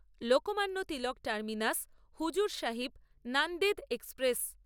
Lokmanya Tilak terminus হজুরসাহিব Nanded express